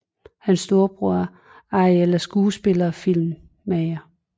Hans storebror Ariel er skuespiller og filmmager